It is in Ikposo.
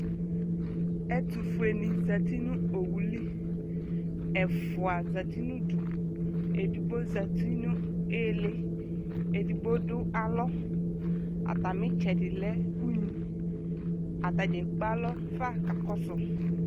Ɛtʋfuenɩ zati nʋ owu li Ɛfʋa zati nʋ udu, edigbo zati nʋ ɩɩlɩ, edigbo dʋ alɔ Atamɩ ɩtsɛdɩ lɛ unyi Ata dza ekpe alɔ fa kakɔsʋ